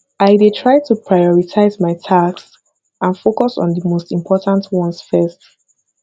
i dey try to prioritize my tasks and focus on di most important ones first